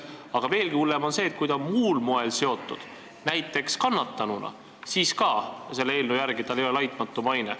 Aga veelgi hullem on see, et kui ta on süüteoasjaga muul moel seotud, näiteks kannatanuna, siis tal selle eelnõu järgi ei ole laitmatu maine.